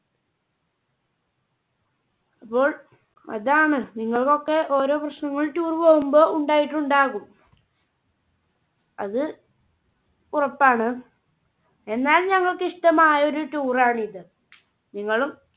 അപ്പോൾ അതാണ് നിങ്ങൾക്കൊക്കെ ഓരോ പ്രശ്നങ്ങൾ tour പോവുമ്പോ ഉണ്ടായിട്ടുണ്ടാകും അത് ഉറപ്പാണ്. എന്നാൽ ഞങ്ങൾക്കിഷട്ടമായ ഒരു tour ആണ് ഇത്. നിങ്ങളും